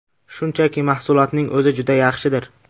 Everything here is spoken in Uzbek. Shunchaki, mahsulotning o‘zi juda yaxshidir.